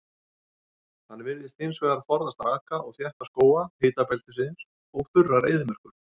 Hann virðist hins vegar forðast raka og þétta skóga hitabeltisins og þurrar eyðimerkur.